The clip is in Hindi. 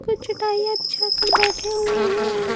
का चटाइयां पिछाकर बैठे हुए हैं।